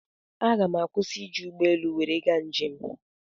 Aga m akwụsi ị ji ụgbọelu nwere ga njem